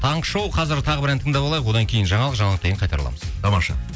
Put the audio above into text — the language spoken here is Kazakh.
таңғы шоу қазір тағы бір ән тыңдап алайық одан кейін жаңалық жаңалықтан кейін қайта ораламыз тамаша